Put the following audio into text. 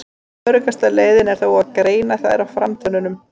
Öruggasta leiðin er þó að greina þær á framtönnunum.